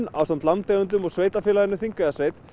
ásamt landeigendum og Sveitarfélaginu Þingeyjarsveit